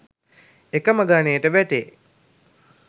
එකම ගණයට වැටේ